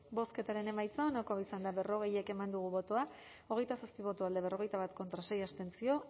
bozketaren emaitza onako izan da berrogei eman dugu bozka hogeita zazpi boto alde berrogeita bat contra sei abstentzio